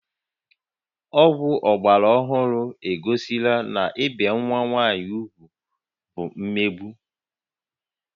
Ọgwụ ọgbara ọhụrụ egosila na ibi nwa nwaanyị úgwù bụ mmegbu